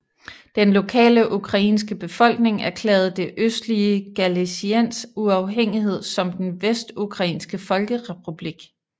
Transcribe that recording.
Den lokale ukrainske befolkning erklærede det østlige Galiciens uafhængighed som den Vestukrainske folkerepublik